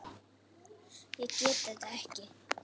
Ég get þetta ekki.